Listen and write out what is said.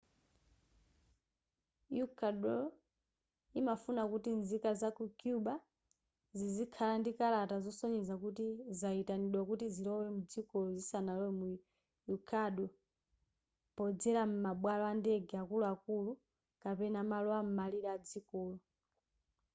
ecuador imafuna kuti nzika zaku cuba zizikhala ndi kalata zosonyeza kuti zayitanidwa kuti zilowe mdzikolo zisanalowe mu ecuador podzera m'mabwalo andege akuluakulu kapena malo am'malire adzikolo